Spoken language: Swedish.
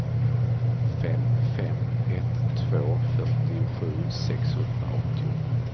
fem fem ett två fyrtiosju sexhundraåttio